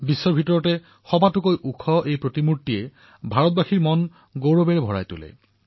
বিশ্বৰ সবাতোকৈ ওখ প্ৰতিমাই প্ৰতিজন ভাৰতীয়ৰ বুকু গৌৰৱেৰে উপচাই পেলায়